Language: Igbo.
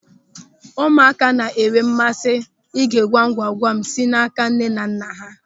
Ụmụaka na-enwe mmasị ige ngwamngwam si n'áká nnenanna ha.